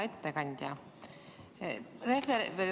Hea ettekandja!